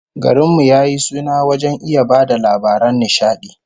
Garin mu ya yi suna wajen iya ba da labaran nishadi